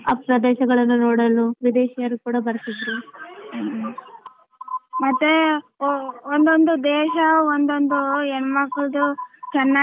ಆ ಪ್ರದೇಶಗಳನ್ನು ನೋಡಲು ವಿದೇಶಿಯರು ಕೂಡ ಬರ್ತಿದ್ರು ಮತ್ತೆ ಒಂದೊಂದು ದೇಶ ಒಂದೊಂದು ಹೆಣಮ್ಮಕ್ಕಳದು ಚೆನ್ನಾಗಿ.